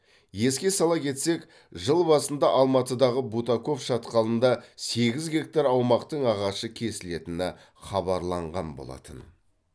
еске сала кетсек жыл басында алматыдағы бутаков шатқалында сегіз гектар аумақтың ағашы кесілетіні хабарланған болатын